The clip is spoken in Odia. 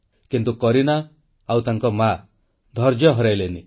କିନ୍ତୁ କରୀନା ଓ ତାଙ୍କ ମା ଧୈର୍ଯ୍ୟ ହରାଇଲେ ନାହିଁ